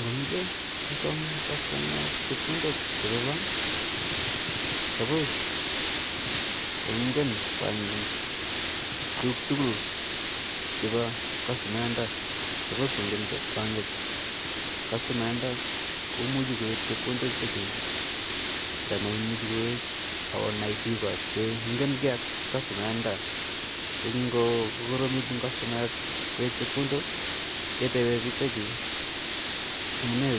Ngomeche kosom customayat chepkondok chepa bank supos kongen bankit tukuk tukul chepa customayat ndo, supos kongen bankit customayat ndo komuji kowek chepkondok chutachu nda maimuji kowek ako nai biko che ngenkee ak customayat nda so ngo koromit eng customayat kowek chepkondok ketepee bik chutachu amunee